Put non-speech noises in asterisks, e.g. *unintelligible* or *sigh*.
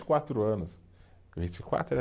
e quatro anos, vinte e quatro *unintelligible*